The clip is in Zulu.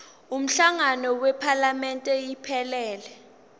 umhlangano wephalamende iphelele